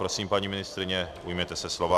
Prosím, paní ministryně, ujměte se slova.